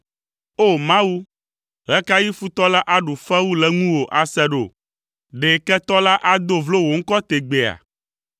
O! Mawu, ɣe ka ɣi futɔ la aɖu fewu le ŋuwò ase ɖo? Ɖe ketɔ la ado vlo wò ŋkɔ tegbeea?